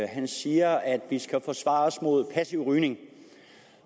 han siger at vi skal forsvare os mod passiv rygning